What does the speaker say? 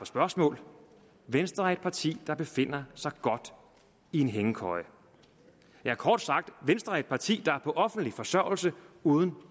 spørgsmål venstre er et parti der befinder sig godt i en hængekøje kort sagt er venstre et parti der er på offentlig forsørgelse uden